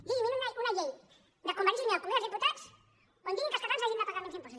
digui’m una llei de convergència i unió al congrés dels diputats on diguin que els catalans hagin de pagar menys impostos